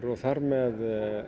og þar með